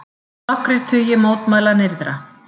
Nokkrir tugir mótmæla nyrðra